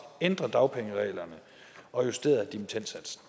ændret dagpengereglerne og justeret dimittendsatsen